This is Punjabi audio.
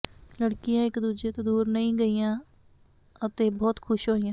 ਲੜਕੀਆਂ ਇਕ ਦੂਜੇ ਤੋਂ ਦੂਰ ਨਹੀਂ ਗਈਆਂ ਅਤੇ ਬਹੁਤ ਖੁਸ਼ ਹੋਈਆਂ